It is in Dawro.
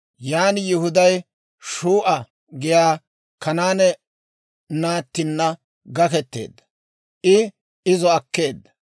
Yan Yihuday Shuu'a giyaa Kanaane naattinna gaketeedda; I izo akkeedda.